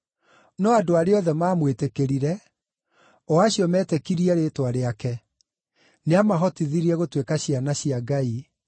No andũ arĩa othe maamwĩtĩkĩrire, o acio metĩkirie rĩĩtwa rĩake, nĩamahotithirie gũtuĩka ciana cia Ngai